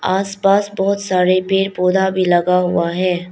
आसपास बहोत सारे पेड़ पौधा भी लगा हुआ है।